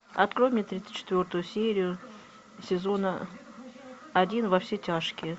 открой мне тридцать четвертую серию сезона один во все тяжкие